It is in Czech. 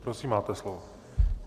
Prosím, máte slovo.